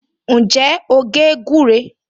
Ǹjẹ́ o gé gúré?